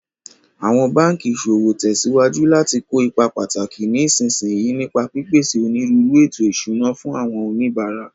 Awọn banki iṣowo tẹsiwaju lati ko ipa pataki ní ìsinsìnyí, nípa pípèsè onírúurú ètò ìṣúná fún àwọn oníbàárà.